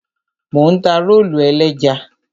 Mò ń ta rólù ẹlẹ́ja.